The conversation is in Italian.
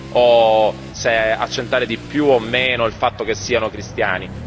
o se accentuare di più o meno il fatto che siano cristiani.